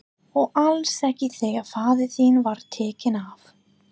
Og alls ekki þegar faðir þinn var tekinn af.